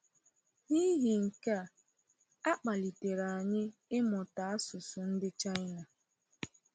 N’ihi nke a, a kpalitere anyị ịmụta asụsụ ndị China.